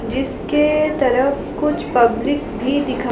जिसके तरफ़ कुछ पब्लिक भी दिखा--